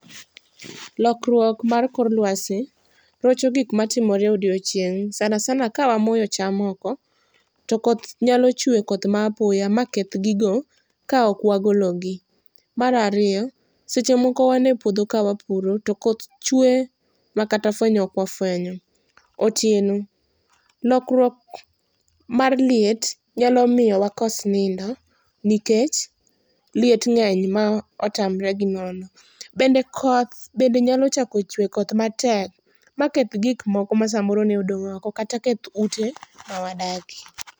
Lokruok mar kor luasi rocho gik matimre odiechieng' sana sana â€ kawamoyo cham oko, to koth chwe koth ma apoya maketh gigo kaok wagologi. Mar ariyo, seche moko wan epuodho ka wapuro to koth chwe makata fuenyo ok wafuenyo. Otieno lokruok mar liet nyalomiyo wakos nindo nikech liet ng'eny ma otamre gi nono. Bende koth bende nyalo chako chwe koth matek maketh gik moko ma samoro ne odong' oko kata keth ute mawadakie.